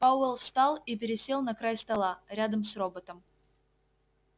пауэлл встал и пересел на край стола рядом с роботом